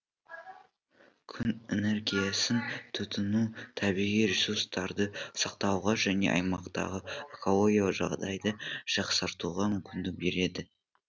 күн энергиясын тұтыну табиғи ресурстарды сақтауға және аймақтағы экологиялық жағдайды жақсартуға мүмкіндік береді